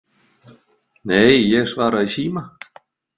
Nei, ég svara í síma